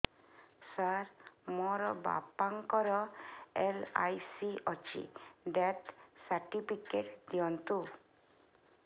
ସାର ମୋର ବାପା ଙ୍କର ଏଲ.ଆଇ.ସି ଅଛି ଡେଥ ସର୍ଟିଫିକେଟ ଦିଅନ୍ତୁ